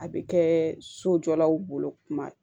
A bɛ kɛ sojɔlaw bolo tuma